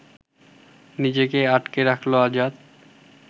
নিজেকে আটকে রাখল আজাদ